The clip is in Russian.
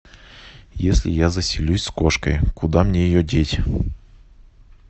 если я заселюсь с кошкой куда мне ее деть